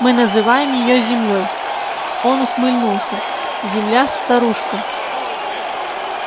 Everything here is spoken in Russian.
мы называем её землёй он ухмыльнулся земля-старушка